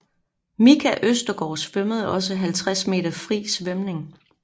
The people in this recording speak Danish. Micha Østergaard svømmede også 50 m fri svømning